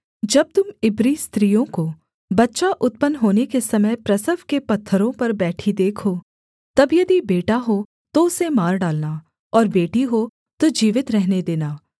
जब तुम इब्री स्त्रियों को बच्चा उत्पन्न होने के समय प्रसव के पत्थरों पर बैठी देखो तब यदि बेटा हो तो उसे मार डालना और बेटी हो तो जीवित रहने देना